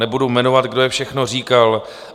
Nebudu jmenovat, kdo je všechno říkal.